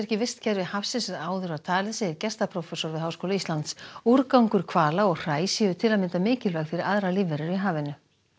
í vistkerfi hafsins en áður var talið segir gestaprófessor við Háskóla Íslands úrgangur hvala og hræ séu til að mynda mikilvæg fyrir aðrar lífverur í hafinu